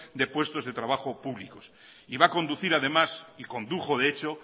de puestos de trabajo públicos y va a conducir además y condujo de hecho